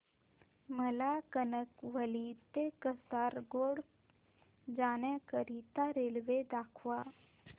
मला कणकवली ते कासारगोड जाण्या करीता रेल्वे दाखवा